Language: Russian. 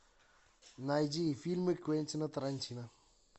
найди фильмы квентина тарантино